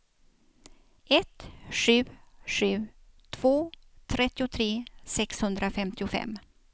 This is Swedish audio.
ett sju sju två trettiotre sexhundrafemtiofem